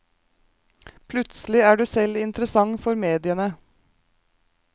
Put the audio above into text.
Plutselig er du selv interessant for mediene.